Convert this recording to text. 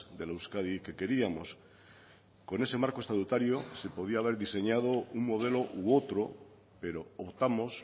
de la euskadi que queríamos con ese marco estatutario se podía haber diseñado un modelo u otro pero optamos